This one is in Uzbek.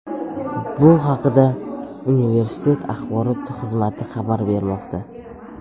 Bu haqda universitet axborot xizmati xabar bermoqda .